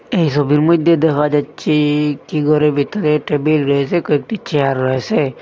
এই সবির মইধ্যে দেখা যাচ্ছে একটি ঘরের ভেতরে টেবিল রয়েসে কয়েকটি চেয়ার রয়েসে।